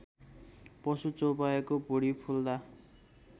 पशु चौपायाको भुडी फुल्दा